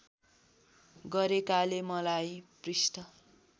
गरेकाले मलाई पृष्ठ